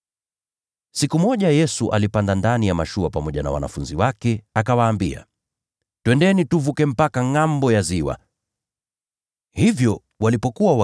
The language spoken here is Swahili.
Siku moja Yesu alipanda ndani ya mashua pamoja na wanafunzi wake, akawaambia, “Tuvukeni twende mpaka ngʼambo ya ziwa.” Nao wakaondoka.